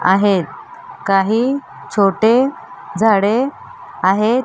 आहेत काही छोटे झाडे आहेत.